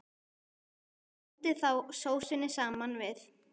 Blandið þá sósunni saman við.